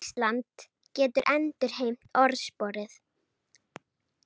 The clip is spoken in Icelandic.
Ísland getur endurheimt orðsporið